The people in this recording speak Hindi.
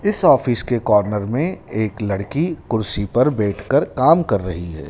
इस ऑफिस के कॉर्नर में एक लड़की कुर्सी पर बैठकर काम कर रही है।